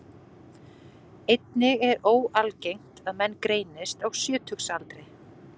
Einnig er ekki óalgengt að menn greinist á sjötugsaldri.